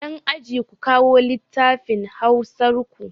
Yan aji, ku kawo lattafin hausar ku!